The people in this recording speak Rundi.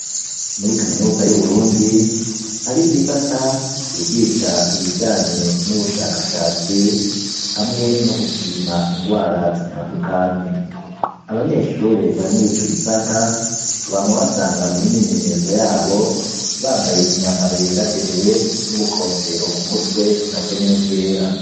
Muri kaminuza y'Uburundi, hariho igisata, cigisha ibijanye n'ubushakashatsi, hamwe no gupima ingwara zitandukanye. Abanyeshure bari muri ico gisata, wama ubasanga mu myimenyerezo yabo, bambaye imyambaro yera derere n'ubukofero ku mutwe na bwo nyene bwera.